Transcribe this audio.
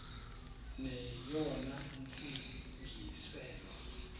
neyona ntsi ngiselo